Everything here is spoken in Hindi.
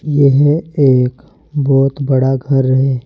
यह एक बहुत बड़ा घर है।